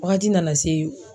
Wagati nana se